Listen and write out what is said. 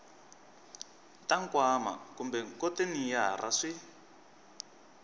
ta nkwama kumbe khonteyinara swi